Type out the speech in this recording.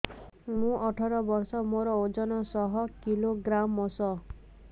ମୁଁ ଅଠର ବର୍ଷ ମୋର ଓଜନ ଶହ କିଲୋଗ୍ରାମସ